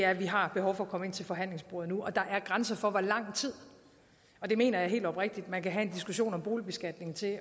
at vi har behov for at komme ind til forhandlingsbordet nu og der er grænser for hvor lang tid og det mener jeg helt oprigtigt man kan have en diskussion om boligbeskatningen til at